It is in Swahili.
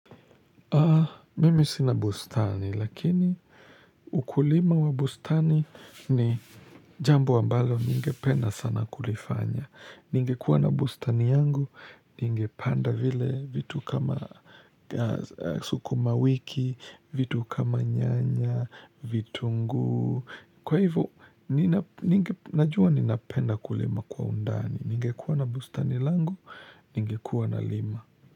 Mimi sina bustani, lakini ukulima wa bustani ni jambo ambalo ninge penda sana kulifanya. Ninge kuwa na bustani yangu, ninge panda vile vitu kama suku mawiki, vitu kama nyanya, vitu nguu. Kwa hivo, ninge najua ninapenda kulima kwa undani. Ninge kuwa na bustani langu, ninge kuwa na lima.